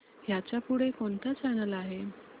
ह्याच्या पुढे कोणता चॅनल आहे